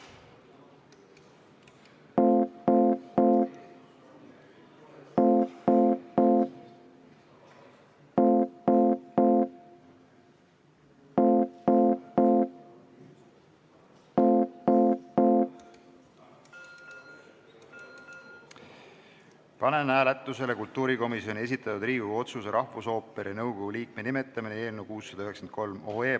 Panen hääletusele kultuurikomisjoni esitatud Riigikogu otsuse "Rahvusooperi nõukogu liikme nimetamine" eelnõu 693.